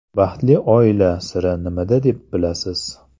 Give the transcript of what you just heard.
Baxtli oila siri nimada deb bilasiz?